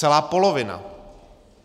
Celá polovina.